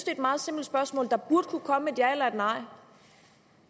er et meget simpelt spørgsmål der burde kunne komme et ja eller et nej